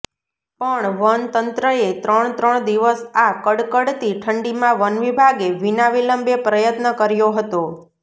પણ વનતંત્રએ ત્રણ ત્રણ દિવસ આ કડકડતી ઠંડીમાં વનવિભાગે વિના વિલંબે પ્રયત્ન કર્યો હતો